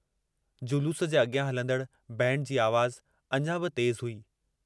जलूस जे अॻियां हलंदड़ बैंड जी आवाज़ अञां बि तेजु हुई।